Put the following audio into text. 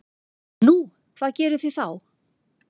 Nú, hvað gerið þið þá?